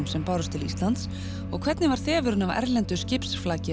sem bárust til Íslands og hvernig var þefurinn af erlendu skipsflaki